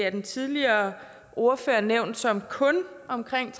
af den tidligere ordfører nævnt som kun omkring